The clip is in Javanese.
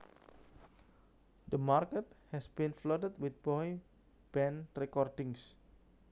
The market has been flooded with boy band recordings